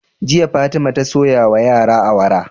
Jiya fatima ta soya wa yara awara